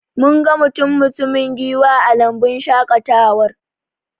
Mun ga mutum-mutumin giwa a lambun shaƙatawar